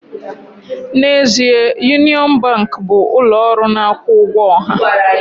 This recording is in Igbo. N'ezie, Union Bank bụ ụlọ ọrụ na-akwụ ụgwọ ọha